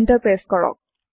enter press কৰক